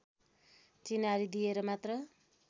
चिनारी दिएर मात्र